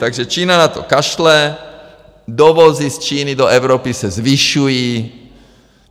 Takže Čína na to kašle, dovozy z Číny do Evropy se zvyšují.